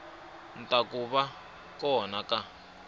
ta ku va kona ka